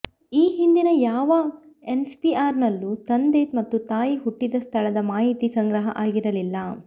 ಈ ಹಿಂದಿನ ಯಾವ ಎನ್ಪಿಆರ್ ನಲ್ಲೂ ತಂದೆ ಮತ್ತು ತಾಯಿ ಹುಟ್ಟಿದ ಸ್ಥಳದ ಮಾಹಿತಿ ಸಂಗ್ರಹ ಆಗಿರಲಿಲ್ಲ